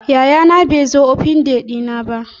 Yayana bai zo Open day dina ba.